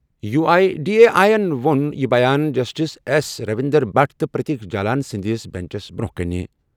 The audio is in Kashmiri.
U I D A I یَن ووٚن یہِ جسٹس ایس رویندر بھٹ تہٕ پرتیک جالان سٕنٛدِس بیٚنچَس برٛونٛہہ کُن۔